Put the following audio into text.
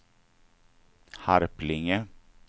Harplinge